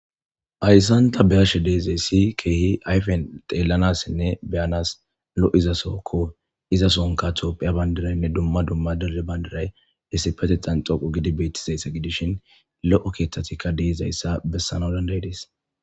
Hayssanta beyashe deezayssi keehi ayfen xeellanassinne beyanas lo7izasokko iza sonka toophiya bandiraynne dumma dumma dere bayndiray hessipete xan xoqu gidi betizaysse gidishin lo7o keeththatikka deezayssa bessana danday dees.